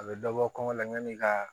A bɛ dɔ bɔ kɔngɔ la yani ka